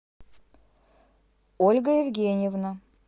ольга евгеньевна